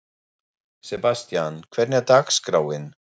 Sebastian, hvernig er dagskráin?